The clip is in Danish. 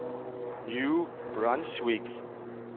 New Brunswick